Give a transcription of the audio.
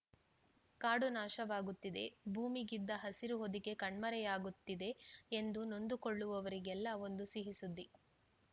ಕಾಡು ನಾಶವಾಗುತ್ತಿದೆ ಭೂಮಿಗಿದ್ದ ಹಸಿರು ಹೊದಿಕೆ ಕಣ್ಮರೆಯಾಗುತ್ತಿದೆ ಎಂದು ನೊಂದುಕೊಳ್ಳುವವರಿಗೆಲ್ಲ ಒಂದು ಸಿಹಿ ಸುದ್ದಿ